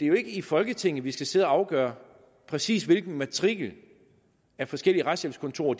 jo ikke i folketinget at vi skal sidde og afgøre præcis hvilken matrikel forskellige retshjælpskontorer